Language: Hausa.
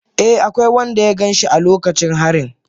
Eh, akwai wanda ya gan shi a lokacin harin